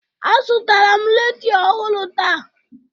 Azụtara m redio ọhụrụ taa